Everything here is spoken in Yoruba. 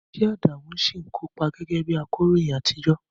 Ṣé Adamu ṣì ń kópa gẹ́gẹ́ bí akọ̀ròyìn àtijọ́?